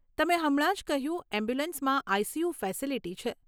તમે હમણાં જ કહ્યું એમ્બ્યુલન્સમાં આઈ સી યુ ફેસીલીટી છે.